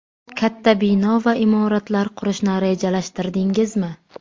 Katta bino va imoratlar qurishni rejalashtirdingizmi?